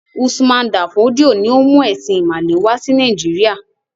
Usman Dan Fodio ni ó mú “ẹ̀sìn-ìmàle” wà sí Nàìjíríà.